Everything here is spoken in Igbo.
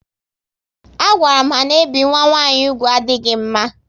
A gwaram ha na ebi nwa nwanyị úgwù adịghị mma